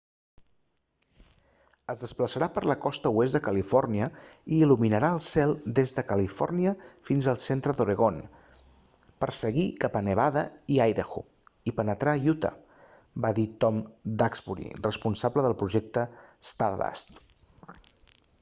es desplaçarà per la costa oest de califòrnia i il·luminarà el cel des de califòrnia fins al centre d'oregon per seguir cap a nevada i idaho i penetrar a utah va dir tom duxbury responsable del projecte stardust